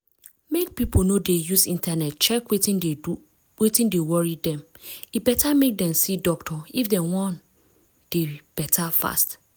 mek pipo no dey use internet check wetin dey worry dem e better mek dem see doctor if dem wan dey better fast.